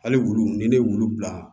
Hali wulu ni ne wulu bila